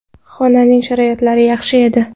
Xonaning sharoitlari yaxshi edi.